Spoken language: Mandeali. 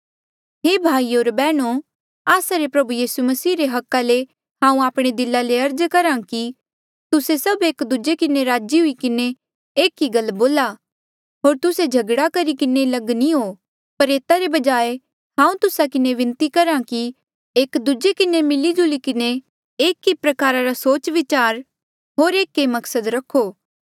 हे भाईयो होर बैहणो आस्सा रे प्रभु यीसू मसीह रे हका ले हांऊँ आपणे दिला ले अर्ज करहा कि तुस्से सभ एक दूजे किन्हें राजी हुई किन्हें एक ई गल बोला होर तुस्से झगड़ा करी किन्हें लग नी हो पर एता रे बजाय हांऊँ तुस्सा किन्हें विनती करहा कि एक दूजे किन्हें मिली जुली कर एक ही प्रकारा रा सोचविचार होर एक ऐें मकसद रखो